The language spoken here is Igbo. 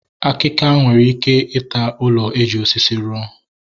Akika nwere ike ịta ụlọ eji osisi ruo